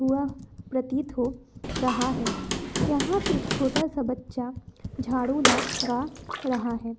यह प्रतीत हो रहा है यहां पे एक छोटा सा बच्चा झाड़ू लगा रहा है